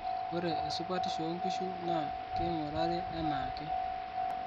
ore esupatisho oo inkishu naa keing'urari enaake